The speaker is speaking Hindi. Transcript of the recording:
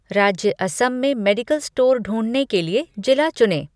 राज्य असम में मेडिकल स्टोर ढूँढने के लिए जिला चुनें